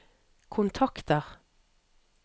kontakter